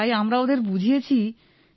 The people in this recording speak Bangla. তাই আমরা ওঁদের বুঝিয়েছি স্যার